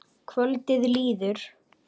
Kvöldið líður.